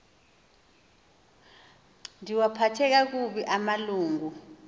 ndiwaphathe kakubi amalungu